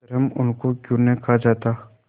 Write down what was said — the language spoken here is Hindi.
अधर्म उनको क्यों नहीं खा जाता